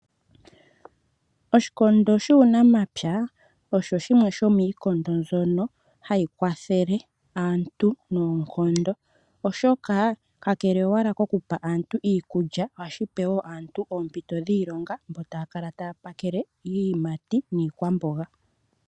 Oshikondo shuunamapya osho shimwe shomiikondo mbyono hayi kwathele aantu noonkondo oshoka kakele owala koku pa aantu iikulya ohashi pe woo aantu oompito dhiilonga mbo taya kala taya pakele iiyimati niikwamboga.